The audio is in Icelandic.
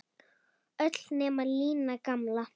Öll nema Lína gamla.